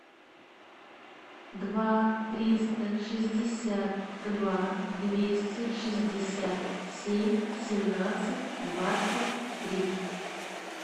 два триста шестьдесят два двести шестьдесят семь семнадцать двадцать три